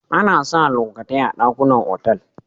Ana sa lokatai a dakunan otal.